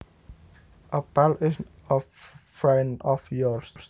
A pal is a friend of yours